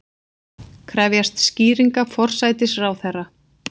Krefjast skýringa forsætisráðherra